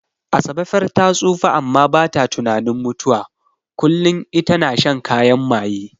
Asabe far ta tsufa amma bata tunanin mutuwa, kullin ita na shan kayan maye.